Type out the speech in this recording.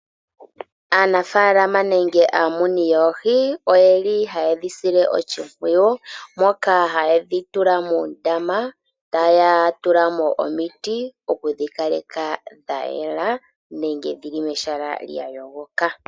Aanafalama nenge amuni yoohi oyeli hayedhi sile oshimpwiyu, moka hayedhi tula muundama, taya tulamo omiti okudhi kaleka dha yela nenge dhili mehala lya yogoka.